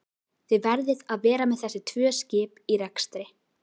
Þið verðið að vera með þessi tvö skip í rekstri?